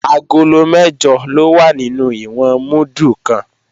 Agolo mẹ́jọ ló wà nínú ìwọ̀n múdù kan